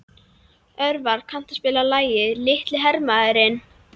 Örvar, kanntu að spila lagið „Litli hermaðurinn“?